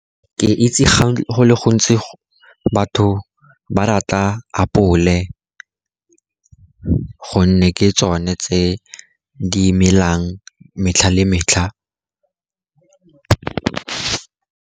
Ke itse go le gontsi batho ba rata apole, gonne ke tsone tse di melang metlha le metlha.